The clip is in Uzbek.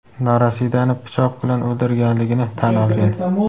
norasidani pichoq bilan o‘ldirganligini tan olgan.